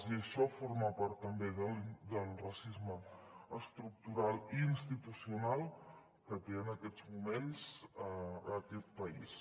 i això forma part també del racisme estructural i institucional que té en aquests moments aquest país